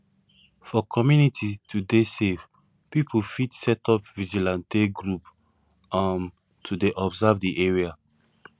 for community to dey safe pipo fit set up vigilante group um to dey observe di area